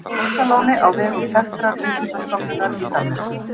Laxalóni á vegum þekktrar vísindastofnunar í Danmörku.